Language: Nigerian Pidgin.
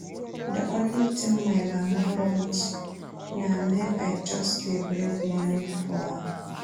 The only thing my mama want na make I just dey bring money for am